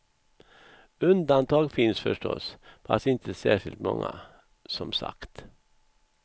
Undantag finns förstås, fast inte särskilt många, som sagt.